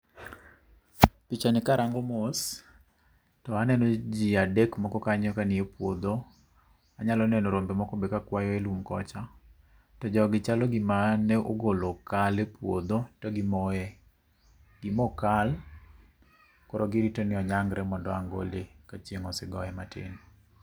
Pichani karango mos, to aneno ji adek moko kanyo kanie puodho. Anyalo neno rombe moko be kakwayo e lum kocha. To jogi chalo gima ne ogolo kal e puodho ka gimoe. Gi mo kal, koro girito ni onyangre mondo ang' gole ka chieng' osee goye matin.